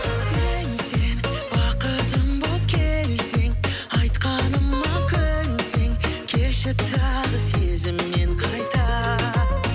сен сен бақытым боп келсең айтқаныма көнсең келші тағы сезіммен қайта